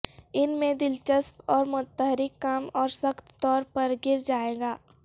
ان میں دلچسپ اور متحرک کام اور سخت طور پر گر جائے گا